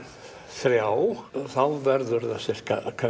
þrjú þá verður það sirka